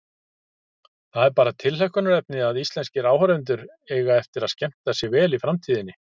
Það er bara tilhlökkunarefni að íslenskir áhorfendur eiga eftir að skemmta sér vel í framtíðinni.